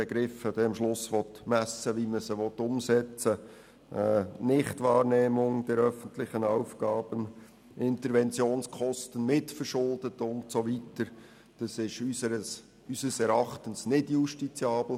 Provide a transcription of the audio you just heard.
Begriffe wie «Nichtwahrnehmung der öffentlichen Aufgaben», «Interventionskosten mitverschuldet» und so weiter sind unseres Erachten nicht justiziabel.